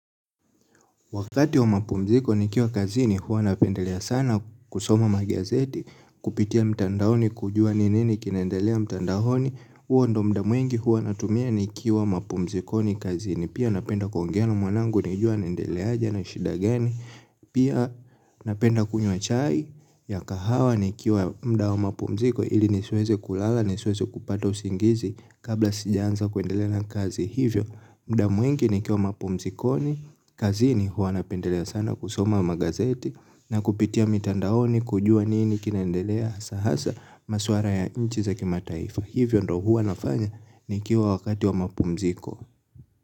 Wakati wa mapumziko nikiwa kazini, huwa napendelea sana kusoma magazeti, kupitia mtandaoni kujua ni nini kinaendelea mtandaoni, huo ndiyo muda mwingi huwa natumia nikiwa mapumzikoni kazini, pia napenda kuongea na mwanangu, nijue anaendelea aje ana shida gani, pia napenda kunywa chai, ya kahawa nikiwa muda wa mapumziko ili nisiweze kulala nisiweze kupata usingizi kabla sijaanza kuendelea na kazi hivyo muda mwingi nikiwa mapumzikoni, kazini huwa napendelea sana kusoma magazeti na kupitia mitandaoni kujua nini kinaendelea hasa hasa masuala ya nchi za kimataifa. Hivyo ndiyo huwa nafanya nikiwa wakati wa mapumziko.